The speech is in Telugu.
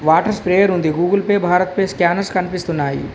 వాటర్ స్ప్రేయర్ ఉంది Google Pay BharatPe scanners కనిపిస్తున్నాయి.